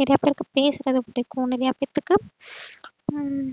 நறைய பேருக்கு பேசுறது புடிக்கும் நறைய பேத்துக்கு. உம்